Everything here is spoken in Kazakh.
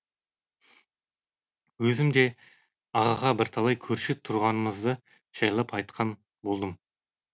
өзім де ағаға бірталай көрші тұрғанымызды жайлап айтқан болдым